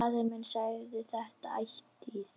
Faðir minn sagði þetta ætíð.